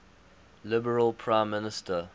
liberal prime minister